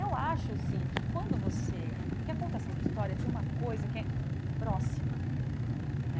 Eu acho, sim, que quando você... Porque a contação de histórias tem uma coisa que é próxima, né?